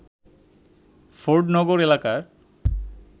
ফোর্ডনগর এলাকার